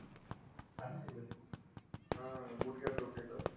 हा, गुडघ्यात डोक त्याच